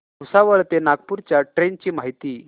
भुसावळ ते नागपूर च्या ट्रेन ची माहिती